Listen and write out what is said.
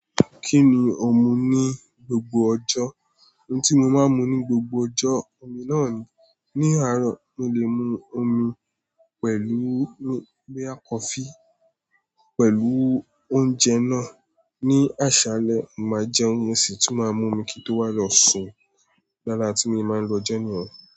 Kí ni ò ń mu ní gbogbo ọjọ́? Oun tí mo máa ń mu ní gbogbo ọjọ́, omi náà ni. Ni àárọ̀, mo lè mu omi pẹ̀lú nígbà kọfí, pẹ̀lú oúnjẹ náà. Ni àṣálẹ́, mà á jẹ oúnjẹ sì tún máa mu omi kí n tó wá lọ sùn. Lálá tí mo bá lọ jẹun ni.